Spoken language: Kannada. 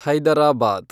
ಹೈದರಾಬಾದ್